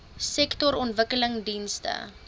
sektorontwikkelingdienste